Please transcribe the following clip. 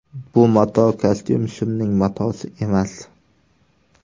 Bu mato kostyum-shimning matosi emas.